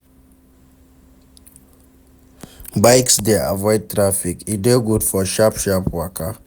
Bikes de avoid traffic e de good for sharp sharp waka